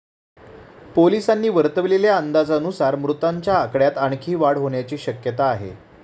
पोलिसांनी वर्तवलेल्या अंदाजानुसार मृतांच्या आकड्यात आणखी वाढ होण्याची शक्यता आहे.